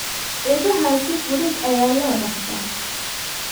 Idaha si fudud ayaa loo dhaqdaa.